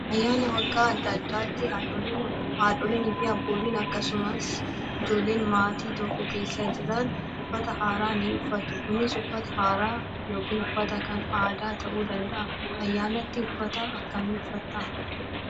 Ayyaana waggaa adda addaatti haadholii fi abbootiin akkasumas ijoolleen maatii tokko keessa jiran uffata haaraa ni uffatu. Kunis uffata haaraa yookiin uffata kan aadaa ta'uu danda'a. Ayyaanatti uffata akkami uffataa?